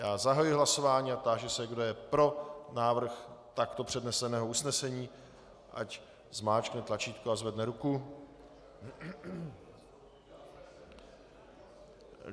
Já zahajuji hlasování a táži se, kdo je pro návrh takto předneseného usnesení, ať zmáčkne tlačítko a zvedne ruku.